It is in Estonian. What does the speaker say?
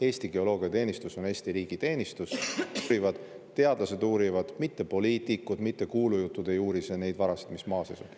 Eesti Geoloogiateenistus on Eesti riigi teenistus, teadlased uurivad, mitte poliitikud, mitte kuulujuttudes ei uuri neid varasid, mis maa sees on.